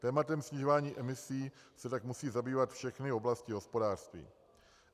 Tématem snižování emisí se tak musí zabývat všechny oblasti hospodářství.